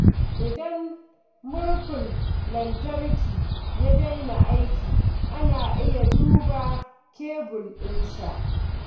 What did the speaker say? Idan murhun lantarki ya daina aiki, ana iya duba kebul ɗinsa.